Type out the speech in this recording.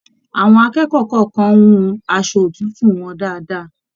Àwọn akẹ́kọ̀ọ́ kọọkan hùn aṣọ òtútù wọn dáadáa.